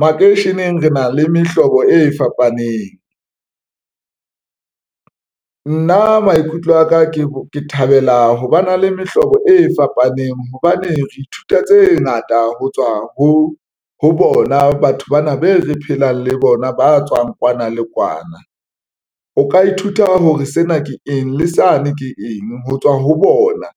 Makeisheneng re na le mehlobo e fapaneng nna maikutlo aka ke thabela ho ba na le mehlobo e fapaneng hobane re ithuta tse ngata ho tswa ho bona. Batho bana be re phelang le bona ba tswang kwana le kwana. O ka ithuta hore sena ke eng le sane, ke eng ho tswa ho bona